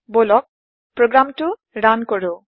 বলক প্ৰোগ্ৰামটো ৰান কৰো